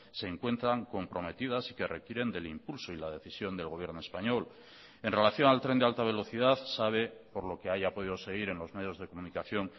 se encuentran comprometidas y que requieren del impulso y la decisión del gobierno español en relación al tren de alta velocidad sabe por lo que haya podido seguir en los medios de comunicación